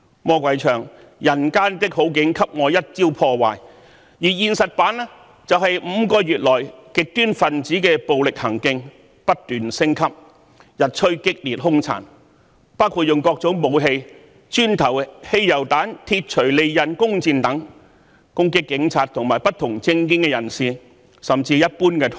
魔鬼口中的"人間的好景給我一朝破壞"，在現實版本中就是5個月來極端分子的暴力行徑不斷升級，日趨激烈凶殘，包括以各種武器，磚頭、汽油彈、鐵鎚、利刃、弓箭等攻擊警察和不同政見人士，甚至一般途人。